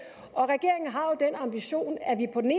og regeringen har den ambition at vi på den